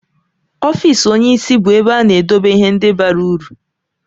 Ọfịs onyeisi bụ ebe a na-edobe ihe ndị bara uru.